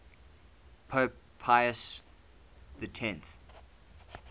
pope pius x